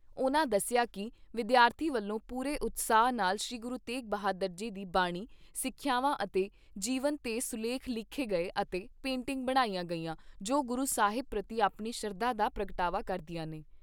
ਉਨ੍ਹਾਂ ਦੱਸਿਆ ਕਿ ਵਿਦਿਆਰਥੀਆਂ ਵੱਲੋਂ ਪੂਰੇ ਉਤਸ਼ਾਹ ਨਾਲ ਸ੍ਰੀ ਗੁਰੂ ਤੇਗ ਬਹਾਦਰ ਜੀ ਦੀ ਬਾਣੀ, ਸਿੱਖਿਆਂਵਾਂ ਅਤੇ ਜੀਵਨ ਤੇ ਸੁਲੇਖ ਲਿਖੇ ਗਏ ਅਤੇ ਪੇਟਿੰਗ ਬਣਾਈਆਂ ਗਈਆਂ ਜੋ ਗੁਰੂ ਸਾਹਿਬ ਪ੍ਰਤੀ ਆਪਣੀ ਸ਼ਰਧਾ ਦਾ ਪ੍ਰਗਟਾਵਾ ਕਰਦੀਆਂ ਨੇ।